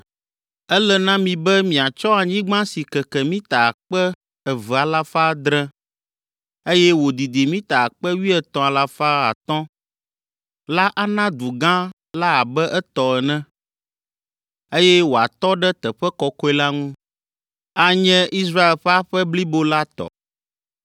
“ ‘Ele na mi be miatsɔ anyigba si keke mita akpe eve alafa adre (2,700), eye wòdidi mita akpe wuietɔ̃ alafa atɔ̃ (13,000) la ana du gã la abe etɔ ene, eye wòatɔ ɖe teƒe kɔkɔe la ŋu. Anye Israel ƒe aƒe blibo la tɔ.